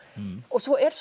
svo er